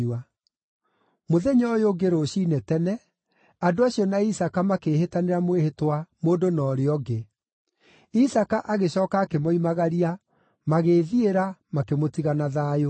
Mũthenya ũyũ ũngĩ, rũciinĩ tene, andũ acio na Isaaka makĩĩhĩtanĩra mwĩhĩtwa mũndũ na ũrĩa ũngĩ. Isaaka agĩcooka akĩmoimagaria, magĩĩthiĩra, makĩmũtiga na thayũ.